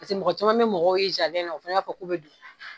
Paseke mɔgɔ caman bi mɔgɔw ye na, o fana b'a fɔ k'u bɛ don